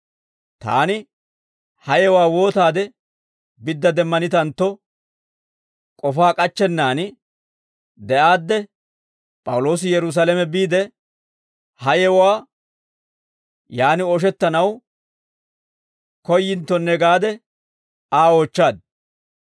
Taani ha yewuwaa wootaade bidda demmanitantto, k'ofaa k'achchennaan de'aadde, P'awuloosi Yerusaalame biide, ha yewuwaa yaan ooshettanaw koyyinttonne gaade Aa oochchaad;